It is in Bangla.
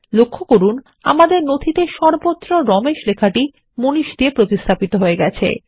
লক্ষ্য করুন আমাদের নথিতেসর্বত্র রমেশ লেখাটি মানিশ দিয়ে প্রতিস্থাপিত হয়ে গেছে